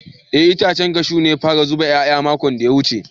Eh itacen cashew ya fara zuba yaya makon da ya wuce.